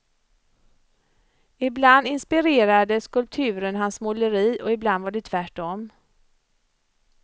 Ibland inspirerade skulpturen hans måleri, och ibland var det tvärtom.